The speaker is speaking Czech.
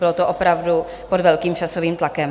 Bylo to opravdu pod velkým časovým tlakem.